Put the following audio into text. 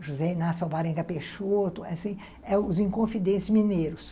José Inácio Alvarenga Peixoto, assim, ãh, os Inconfidentes Mineiros.